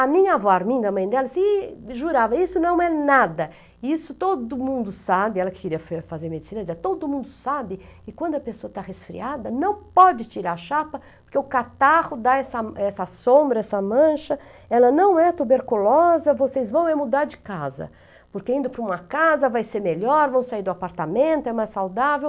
A minha avó Arminda, mãe dela, se jurava, isso não é nada, isso todo mundo sabe, ela queria fazer medicina, todo mundo sabe que quando a pessoa está resfriada, não pode tirar a chapa, porque o catarro dá essa essa sombra, essa mancha, ela não é tuberculosa, vocês vão é mudar de casa, porque indo para uma casa vai ser melhor, vão sair do apartamento, é mais saudável.